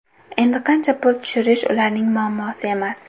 Endi qancha pul tushirish ularning muammosi emas.